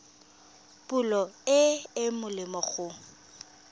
pholo e e molemo go